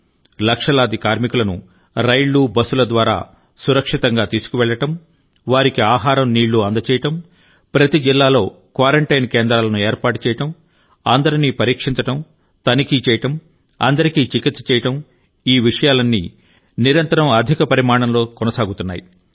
లక్షలాది కార్మికులను రైళ్లు బస్సుల ద్వారా సురక్షితంగా తీసుకువెళ్ళడం వారికి ఆహారం నీళ్ళు అందజేయడం ప్రతి జిల్లాలో క్వారంటైన్ కేంద్రాలను ఏర్పాటు చేయడం అందరినీ పరీక్షించడం తనిఖీ చేయడం అందరికీ చికిత్స చేయడం ఈ విషయాలన్నీ నిరంతరం అధిక పరిమాణంలో కొనసాగుతున్నాయి